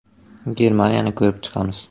Germaniyani ko‘rib chiqamiz.